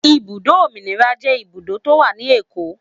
Ibùdó Òmìnira jẹ́ ibùdó tó wà ní Èkó.